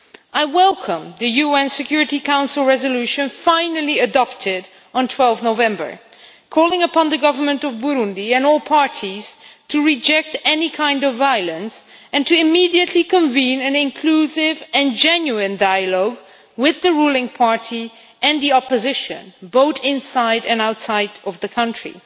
I welcome the UN Security Council Resolution finally adopted on 12 November calling upon the Government of Burundi and all parties to reject any kind of violence and to immediately convene an inclusive and genuine dialogue with the ruling party and the opposition, both inside and outside of the country.